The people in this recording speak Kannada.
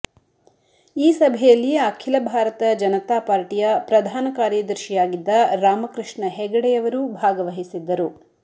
ಈ ಸಭೆಯಲ್ಲಿ ಅಖಿಲ ಭಾರತ ಜನತಾ ಪಾರ್ಟಿಯ ಪ್ರಧಾನ ಕಾರ್ಯದರ್ಶಿಯಾಗಿದ್ದ ರಾಮಕೃಷ್ಣ ಹೆಗಡೆಯವರೂ ಭಾಗವಹಿಸಿದ್ದರು